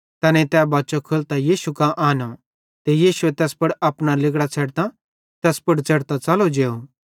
तैनेईं तै बच्चो खोलतां यीशु कां आनो ते यीशुए तैस पुड़ अपना लिगड़ां छ़ेडतां तैस पुड़ च़ेढ़तां च़लो जेव